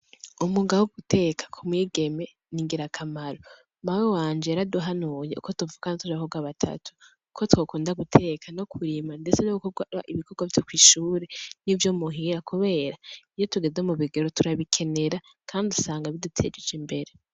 Umwuga wo guteka ku mwigeme ni ngirakamaro, mawe wanje yaraduhanuye uko tuvukana turi abakobwa batatu ko twokunda guteka no kwima ndetse no gukora ibikorwa vyo kw'ishure nivyo muhira kubera, iyo tugeze mu bigero turabikenera kandi usanga bidutejeje imbere.